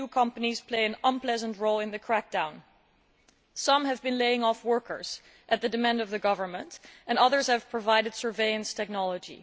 EU companies have played an unpleasant role in the crackdown. Some have been laying off workers at the demand of the government and others have provided surveillance technology.